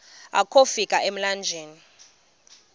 akofi ka emlanjeni